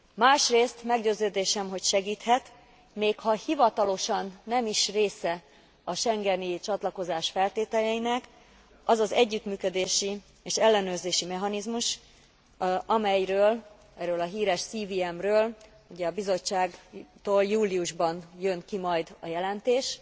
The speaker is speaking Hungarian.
Másrész meggyőződésem, hogy segíthet, még ha hivatalosan nem is része a schengeni csatlakozás feltételeinek az az együttműködési és ellenőrzési mechanizmus, amelyről, erről a híres CVM ről ugye, a Bizottságtól júliusban jön ki majd a jelentés,